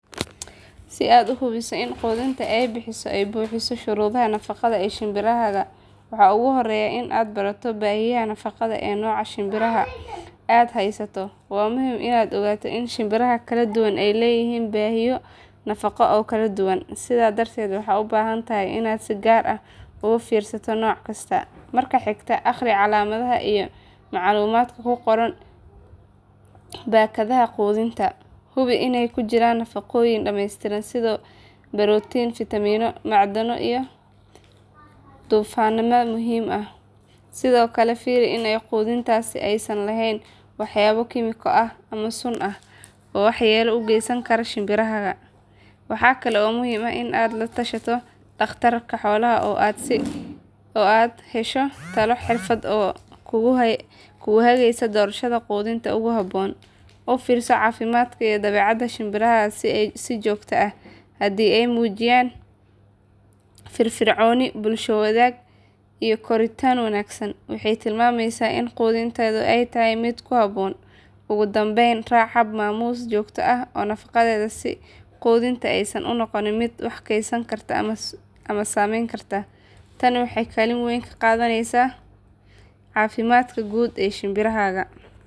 Si aad u hubiso in quudinta aad bixiso ay buuxiso shuruudaha nafaqada ee shinbirahaaga waxa ugu horreeya inaad barato baahiyaha nafaqeed ee nooca shinbiraha aad haysato. Waa muhiim inaad ogaato in shinbiraha kala duwan ay leeyihiin baahiyo nafaqo oo kala duwan, sidaa darteed waxaad u baahan tahay inaad si gaar ah ugu fiirsato nooc kasta. Marka xigta, akhri calaamadaha iyo macluumaadka ku qoran baakadaha quudinta. Hubi inay ku jiraan nafaqooyin dhameystiran sida borotiin, fiitamiinno, macdano iyo dufanada muhiimka ah. Sidoo kale fiiri in quudintaasi aysan lahayn waxyaabo kiimiko ah ama sun ah oo waxyeelo u geysan kara shinbiraha. Waxaa kale oo muhiim ah in aad la tashato dhakhtar xoolaha ah si aad u hesho talo xirfadeed oo kugu hagaysa doorashada quudinta ugu habboon. U fiirso caafimaadka iyo dabeecadda shinbirahaaga si joogto ah. Haddii ay muujiyaan firfircooni, bulsho wanaag iyo koritaan wanaagsan, waxay tilmaamaysaa in quudintaadu ay tahay mid ku habboon. Ugu dambeyn, raac hab-maamuus joogto ah oo nadaafadeed si quudinta aysan u noqon mid wasakhaysan ama sumaysan. Tani waxay kaalin weyn ka qaadanaysaa caafimaadka guud ee shinbirahaaga.